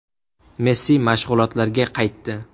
Messi mashg‘ulotlarga qaytdi.